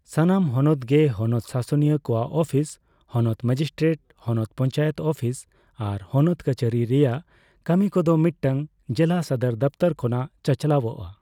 ᱥᱟᱱᱟᱢ ᱦᱚᱱᱚᱛ ᱜᱮ ᱦᱚᱱᱚᱛ ᱥᱟᱥᱚᱱᱤᱭᱟᱹ ᱠᱚᱣᱟᱜ ᱟᱹᱯᱤᱥ, ᱦᱚᱱᱚᱛ ᱢᱮᱡᱤᱥᱴᱨᱮᱴ, ᱦᱚᱱᱚᱛ ᱯᱚᱧᱪᱟᱭᱮᱛ ᱟᱹᱯᱤᱥ ᱟᱨ ᱦᱚᱱᱚᱛ ᱠᱟᱹᱪᱷᱟᱹᱨᱤ ᱨᱮᱭᱟᱜ ᱠᱟᱹᱢᱤ ᱠᱚᱫᱚ ᱢᱤᱫᱴᱟᱝ ᱡᱮᱞᱟ ᱥᱚᱫᱚᱨ ᱫᱚᱯᱷᱛᱚᱨ ᱠᱷᱚᱱᱟᱜ ᱪᱟᱪᱞᱟᱣᱚᱜᱼᱟ ᱾